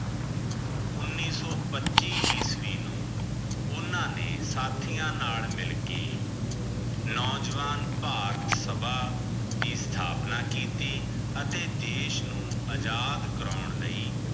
ਉਨੀਸ ਸੋ ਪਚਿ ਈਸਵੀ ਨੂ ਓਨਾ ਨੇ ਸਾਥਿਯਾਂ ਨਾਲ ਮਿਲ ਕੇ ਨੋਜਵਾਨ ਪਰਤ ਸਬ ਵੀ ਥਾਪਣਾ ਕੀਤੀ ਅਤੀ ਦਿਸ਼ ਨੂ ਏਜਾਜ਼ ਕਰੋਂ ਲੈ